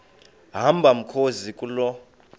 hamba mkhozi kuloo